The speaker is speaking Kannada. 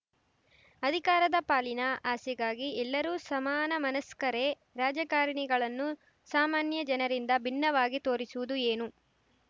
ಅಧಿಕಾರದ ಪಾಲಿನ ಆಸೆಗಾಗಿ ಎಲ್ಲರೂ ಸಮಾನಮನಸ್ಕರೇ ರಾಜಕಾರಣಿಗಳನ್ನು ಸಾಮಾನ್ಯ ಜನರಿಂದ ಭಿನ್ನವಾಗಿ ತೋರಿಸುವುದು ಏನು